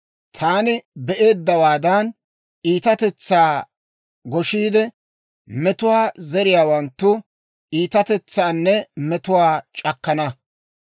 Taani be'eeddawaadan, iitatetsaa goshiide, metuwaa zeriyaawanttu iitatetsaanne metuwaa c'akkana.